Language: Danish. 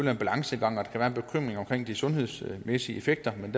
er en balancegang og at der kan være en bekymring omkring de sundhedsmæssige effekter men